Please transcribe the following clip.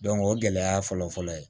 o gɛlɛya fɔlɔfɔlɔ ye